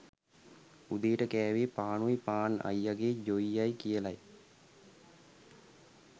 උදේට කෑවේ පානුයි පාන් අයියගේ ජොයියයි කියලා